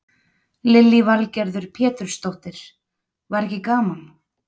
Lillý Valgerður Pétursdóttir: Var ekki gaman?